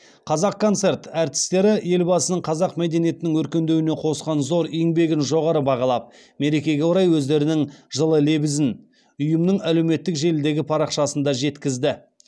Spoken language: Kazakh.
қазақконцерт әртістері елбасының қазақ мәдениетінің өркендеуіне қосқан зор еңбегін жоғары бағалап мерекеге орай өздерінің жылы лебізін ұйымның әлеуметтік желідегі парақшасында жеткізді